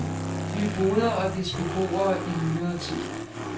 Nyboder og dets beboere i nyere tid.